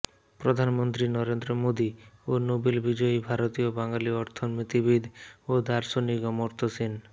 প্রধানমন্ত্রী নরেন্দ্র মোদি ও নোবেল বিজয়ী ভারতীয় বাঙালী অর্থনীতিবিদ ও দার্শনিক অমর্ত্য সেন